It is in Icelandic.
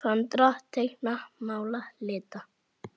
Föndra- teikna- mála- lita